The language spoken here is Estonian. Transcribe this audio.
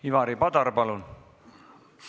Ivari Padar, palun!